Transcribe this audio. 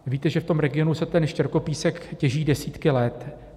Víte, že v tom regionu se ten štěrkopísek těží desítky let.